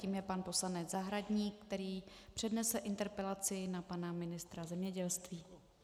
Tím je pan poslanec Zahradník, který přednese interpelaci na pana ministra zemědělství.